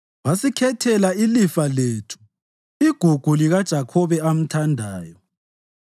Wasikhethela ilifa lethu, igugu likaJakhobe amthandayo.